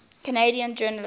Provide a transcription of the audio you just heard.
canadian journalists